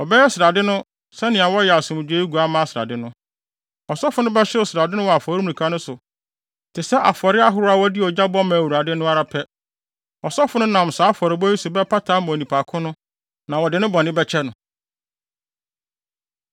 Wɔbɛyɛ srade no sɛnea wɔyɛ asomdwoe oguamma srade no. Ɔsɔfo no bɛhyew srade no wɔ afɔremuka no so te sɛ afɔre ahorow a wɔde ogya bɔ ma Awurade no ara pɛ. Ɔsɔfo no nam saa afɔrebɔ yi so bɛpata ama onipa ko no, na wɔde ne bɔne bɛkyɛ no.